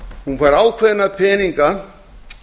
hún fær ákveðna peninga